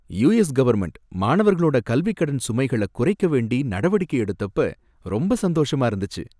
US government மாணவர்களோட கல்விக்கடன் சுமைகள குறைக்க வேண்டி நடவடிக்கை எடுத்தப்ப ரொம்ப சந்தோஷமா இருந்துச்சு.